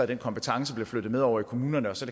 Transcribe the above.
den kompetence bliver flyttet med over i kommunerne så